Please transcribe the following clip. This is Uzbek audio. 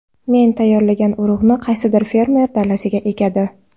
Men tayyorlagan urug‘ni qaysidir fermer dalasiga ekadi.